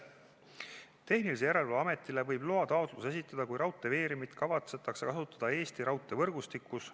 Tarbijakaitse ja Tehnilise Järelevalve Ametile võib loataotluse esitada, kui raudteeveeremit kavatsetakse kasutada Eesti raudteevõrgustikus.